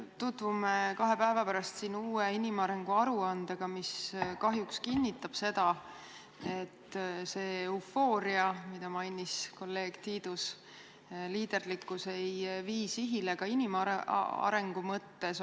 Tutvume kahe päeva pärast siin uue inimarengu aruandega, mis kahjuks kinnitab seda, et see eufooria, mida mainis kolleeg Tiidus, see liiderlikkus ei vii sihile ka inimarengu mõttes.